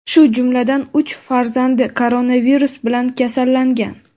shu jumladan uch farzandi koronavirus bilan kasallangan.